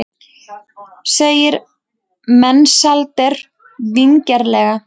segir Mensalder vingjarnlega.